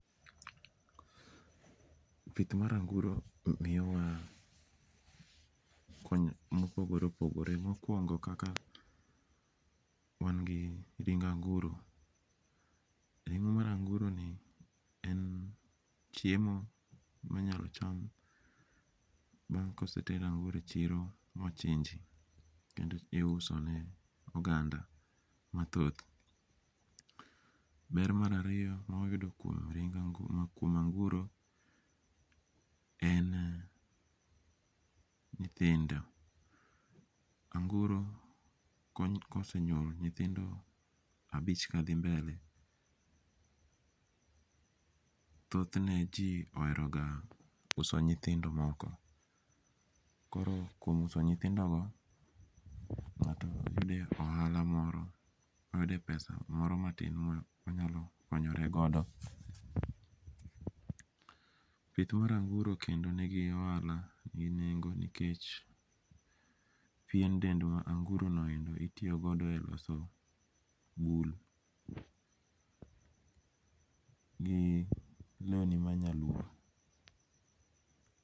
Pith mar anguro miyowa kony mopogore opogore mokuongo kaka wan gi ring' anguro, ringo' mar anguroni en chiemo manyalo cham, bang' ka oseter an'uro e chiro mochinji ma ousi, iusone oganda mathoth, ber marariyo ma wayudo kuom anguro en nyithindo, anguro kosenyuolo nyithindo abich kathi mbele thothne ji oheroga uso nyithindo moko, koro kuom uso nyithindogo nga'to thi yudo ohala moro moyude pesa moro matin monyalo konyoregodo, pith mar anguro kendo nigi ohala gingi nengo nikech pien ndel mar anguronoendo itiyogodo e loso bull gi lewni manyaluo.